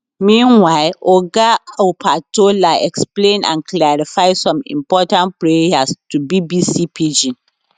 meanwhile oga opatola explain and clarify some important prayers to bbc pidgin